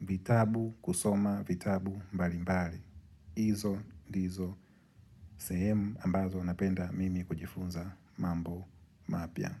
vitabu kusoma vitabu mbalimbali. Izo, ndizo, sehemu ambazo napenda mimi kujifunza mambo mapya.